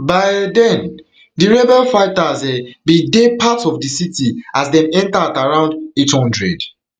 by um den rebel den rebel fighters um bin dey parts of di city as dem enter at around eight hundred